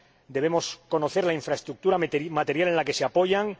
debemos conocer la infraestructura material en la que se apoyan